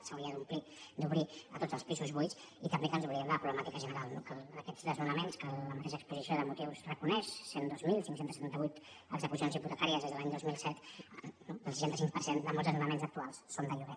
s’hauria d’obrir a tots els pisos buits i també que ens oblidem de la problemàtica general no que aquests desnonaments que la mateixa exposició de motius reconeix cent i dos mil cinc cents i setanta vuit execucions hipotecàries des de l’any dos mil set no el seixanta cinc per cent de molts desnonaments actuals són de lloguer